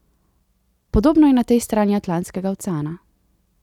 Podobno je na tej strani Atlantskega oceana.